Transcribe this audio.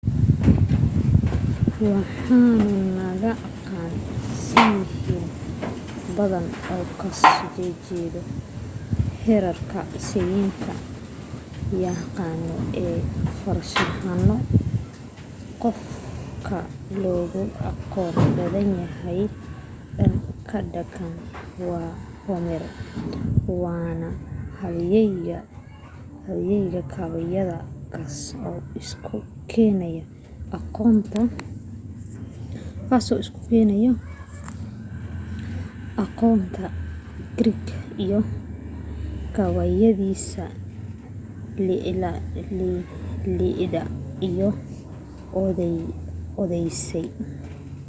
waxanu naqaana siyaasiyiin badan oo ka soo jeeda greek sayni yahaano iyo farshaxano qof ka loogu aqoon badan yahay dhan ka dhaqanka waa homer waana halyeeyga gabayada kaas oo isu keena aqoonta greek ga gabayadiisa iliad iyo odyssey